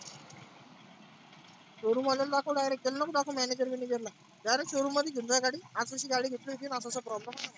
showroom वाल्याला दाखव direct त्याला नको दाखवू manager बिनेजरला. direct showroom मध्ये घेऊन जाय गाडी आशी आशी गाडी घेतली होती असा असा problem आला मला.